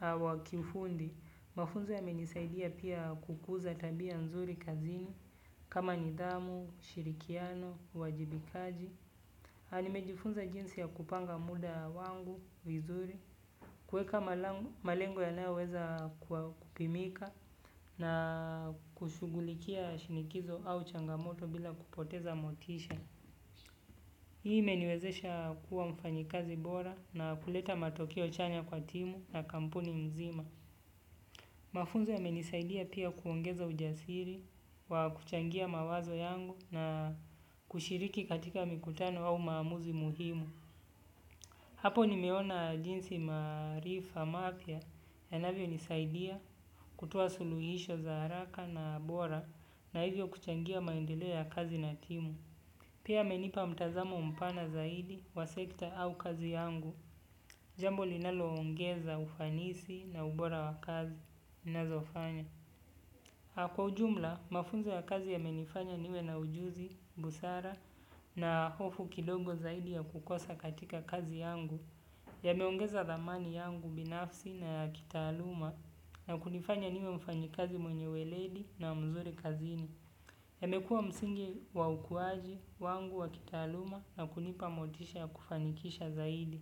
wa kiufundi, mafunzo yamenisaidia pia kukuza tabia nzuri kazini kama nidhamu, ushirikiano, uwajibikaji. Nimejifunza jinsi ya kupanga muda wangu, vizuri, kueka malengo yanayoweza kupimika na kushughulikia shinikizo au changamoto bila kupoteza motisha. Hii imeniwezesha kuwa mfanyikazi bora na kuleta matokeo chanya kwa timu na kampuni mzima. Mafunzo yamenisaidia pia kuongeza ujasiri, wa kuchangia mawazo yangu na kushiriki katika mikutano au maamuzi muhimu. Hapo nimeona jinsi maarifa mapya yanavyonisaidia kutoa suluhisho za haraka na bora na hivyo kuchangia maendeleo ya kazi na timu. Pia amenipa mtazamo mpana zaidi wa sekta au kazi yangu. Jambo linaloongeza ufanisi na ubora wa kazi nazofanya. Kwa ujumla, mafunzo ya kazi yamenifanya niwe na ujuzi, busara na hofu kidogo zaidi ya kukosa katika kazi yangu. Yameongeza thamani yangu binafsi na ya kitaaluma na kunifanya niwe mfanyikazi mwenye weledi na mzuri kazini. Imekua msingi wa ukuaji wangu taaluma na kunipa motisha ya kufanikisha zaidi.